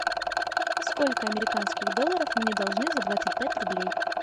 сколько американских долларов мне должны за двадцать пять рублей